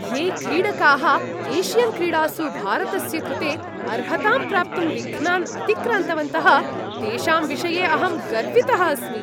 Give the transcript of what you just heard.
ये क्रीडकाः एशियन्क्रीडासु भारतस्य कृते अर्हतां प्राप्तुं विघ्नान् अतिक्रान्तवन्तः तेषां विषये अहं गर्वितः अस्मि।